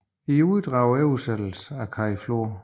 I uddrag og oversættelse ved Kai Flor